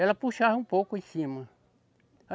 Ela puxava um pouco em cima.